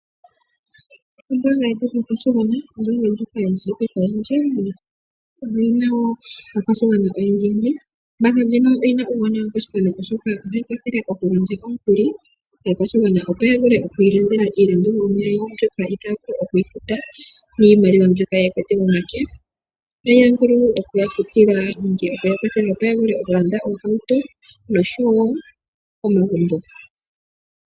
Ombaanga yetu yotango yopashigwana, ombaanga ndjoka yi shiwike koyendji, ano oyi na wo aakwashigwana oyendji. Ombaanga ndjika oyi na uuwanawa koshigwana, oshoka ohayi kwathele okugandja omukuli kaakwashigwana, opo ya vule oku ilandela iinima mbyoka itaya vulu oku yi futa niimaliwa mbyoka ye na momake. Ohayi vulu oku ya kwathela opo ya vule okulanda oohauto noshowo omagumbo.